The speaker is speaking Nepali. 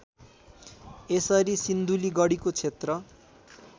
यसरी सिन्धुलीगढीको क्षेत्र